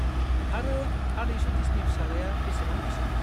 आरो आदै सतिशनि फिसालाया बेसेबां बैसोनि?